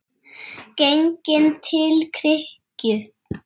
Genginn til kirkju.